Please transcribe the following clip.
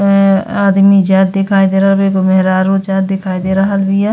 अ आदमी जात दिखाई दे रहल बा। एगो मेहरारू जात दिखाई दे रहल बिया।